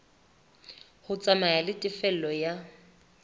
ho tsamaya le tefello ya